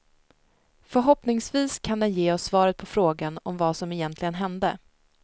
Förhoppningsvis kan den ge oss svaret på frågan om vad som egentligen hände.